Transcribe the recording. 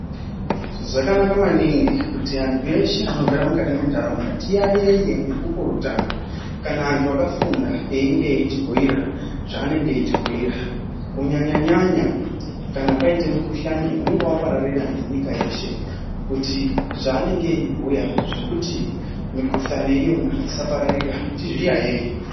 Zvakanaka maningi kuti antu eshe anogara mukati mwentaraunda tiyayeye nekupurutana kana antu akafunda einge eitibhuira zvanenge eitibhuira kunyanyanyanya kana kwaite mukhuhlani wapararira nenyika yeshe. Zvanenge eitibhuira zvekuti mikhuhlani iyona isapararira tizviyayeye.